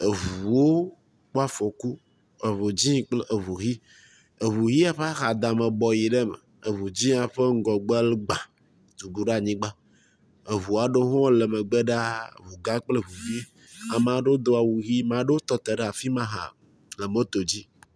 Eŋuwo ƒe afɔku. Eŋu dzɛ̃ kple eŋu yi. Eŋuʋia ƒe axadame bɔ yi ɖe eme. Eŋu dzɛ̃a ƒe ŋgɔgbe gbãa tu ɖo ɖe anyigba. Eŋua ɖewo le megbe ɖaa. Eŋu gã kple eŋu vi. Ame ɖewo doa awu ʋi, ame ɖewo tɔ te ɖe afi ma hã le moto dzi.